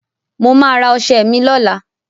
Mo ma ra ọṣẹ mi lọ́la